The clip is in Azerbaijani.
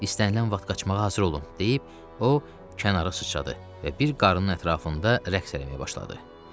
İstənilən vaxt qaçmağa hazır olun, deyib o kənara sıçradı və bir qarın ətrafında rəqs eləməyə başladı.